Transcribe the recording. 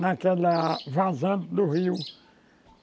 naquela vazante do rio.